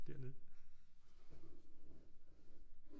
Dernede